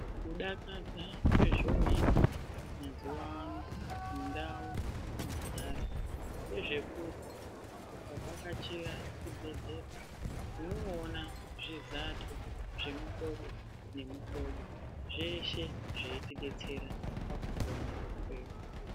Kudakadza kwezvooita, mazuwa ano ,mundau mwetinogara, ngezvekuti, ukavhakachira chibhedhlera, unooona zvizato zvemihlobo nemihlobo, zveeshe zveitidetsera pakupona kwedu.